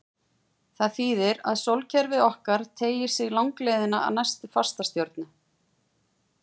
Það þýðir að sólkerfið okkar teygir sig langleiðina að næstu fastastjörnu.